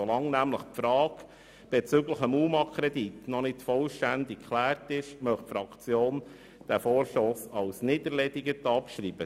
Solange die Frage bezüglich des UMA-Kredits noch nicht vollständig geklärt ist, möchte die Fraktion diesen Vorstoss als nicht erledigt betrachten.